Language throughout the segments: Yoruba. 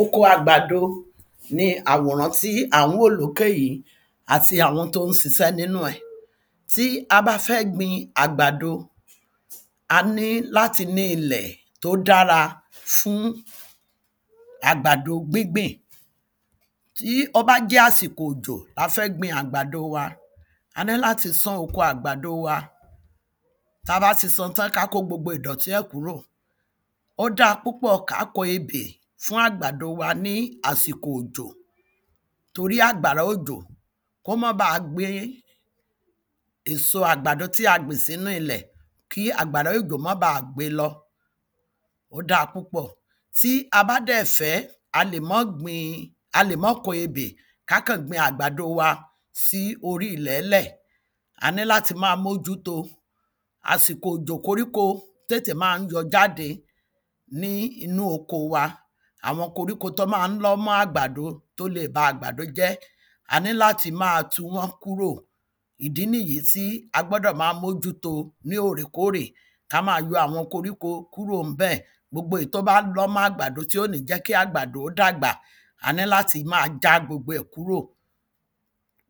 Oko àgbàdo ní àwòrán tí à ń wò lókè yí àti àwọn tó ń ṣiṣẹ́ nínú ẹ̀, tí a bá fẹ́ gbin àgbàdo, a ní láti nílẹ̀ tó dára fún àgbàdo gbígbìn. Tí ó bá jẹ́ àsìkò òjò la fẹ́ gbin àgbàdo wa, a ní láti sán oko àgbàdo wa. Tabá ti san tán, kí á kó gbogbo ìdọ̀tí ẹ̀ kúrò, ò da púpọ̀ ká kọ ebè fún àgbàdo wa ní àsìkò òjò, torí àgbàrá òjò, kó má bà gbé èso àgbàdo tí a gbìn sínú ilẹ̀, kí àgbàrá ojo má ba à gbe lọ, ò da púpọ̀, tí a bá dẹ̀ fẹ́ a lè má gbin, a lè má kọ ebè ki a gbin agbádò wa sí orí ilẹ̀ẹ́lẹ̀. A ní láti ma mójú to, àsìkò òjò koríko, tètè ma ń yọ jáde ní inú oko wa, àwọn koríko tó ma ń lọ́ mọ́ àgbàdo, tó le ba àgbàdo jẹ́, a ní láti ma tu wọ́n kúrò. Ìdí nì yí tí a gbọ́dọ̀ ma mójú to ní oòrèkóòrè, ká ma yọ àwọn koríko kúrò ní bẹ̀, gbobo, èyí tó bá lọ́ mọ́ àgbàdo, tí ò ní jẹ́ kì àgbàdo ó dàgbà, a ní láti ma já gbogbo ẹ̀ dúrò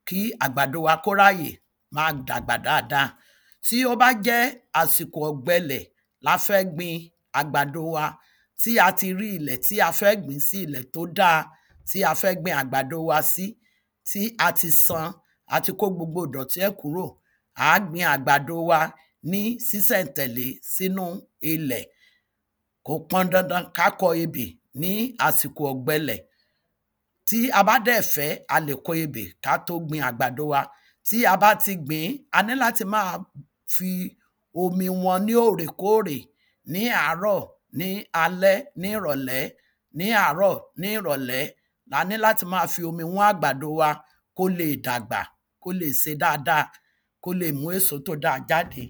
kí àgbàdo wa kó ráyè ma dàgbà dada. Tí ó bá jẹ́ àsìkò ọ̀gbẹlẹ̀ la fẹ́ gbin àgbàdo wa, tí a ti rí ilẹ̀, tí a fẹ́ gbǐn sí ilẹ̀ tó da, tí a fẹ́ gbin àgbàdo wa sí, tí a ti san, a ti kó gbogbo ìdọ̀tí ẹ̀ kúrò, ǎ gbin àgbàdo wa ní sísẹ́ntẹ̀lẹ́ sínú ilẹ̀, kò pọn dandan ká kọ ebè ní àsìkò ọ̀gbẹlẹ̀. Tí a bá dẹ̀ fẹ́ a lè kọ ebè ká tó gbin àgbàdo wa, tí a bá ti gbǐn, a ní láti ma fi omi wọn ní òrèkóòrè, ní àárọ̀, ní alẹ́, ní ìrọ̀lẹ́, ní àárọ̀, ní ìrọ̀lẹ́, la ní láti ma fi omi wọ́n àgbàdo wa kóle dàgbà, kóle ṣe dada, kóle mú èso tó da jáde.